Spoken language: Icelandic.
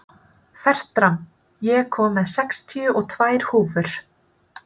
Fertram, ég kom með sextíu og tvær húfur!